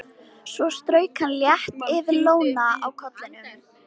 Svo strauk hann létt yfir lóna á kollinum.